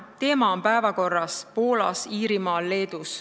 Teema on päevakorral Poolas, Iirimaal, Leedus.